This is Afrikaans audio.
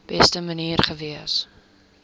beste manier gewees